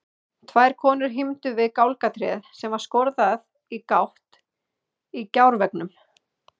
Tvær konur hímdu við gálgatréð sem var skorðað í gátt í gjárveggnum.